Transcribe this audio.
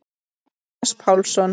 Jónas Pálsson.